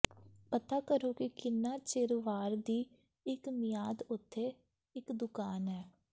ਪਤਾ ਕਰੋ ਕਿ ਕਿੰਨਾ ਚਿਰ ਵਾਰ ਦੀ ਇੱਕ ਮਿਆਦ ਉੱਥੇ ਇੱਕ ਦੁਕਾਨ ਹੈ